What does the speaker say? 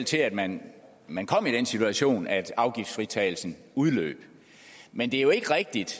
til at man man kom i den situation at afgiftsfritagelsen udløb men det er jo ikke rigtigt